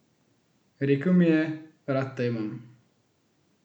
Rekel mi je: 'Rad te imam.